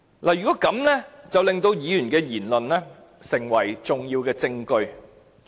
這樣便會令議員的言論成為重要證據。